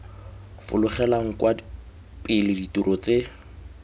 fologelang kwa pele dirori tse